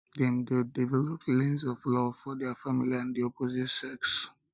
dem de develop feelings of love for their family and di opposite sex